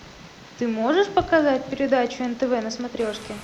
ты можешь показать передачу нтв на смотрешке